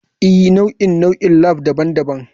Ee, nau'in nau'in labs daban-daban.